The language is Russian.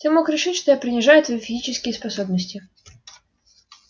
ты мог решить что я принижаю твои физические способности